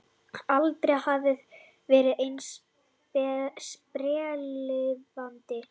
Aldrei hafðirðu verið eins sprelllifandi.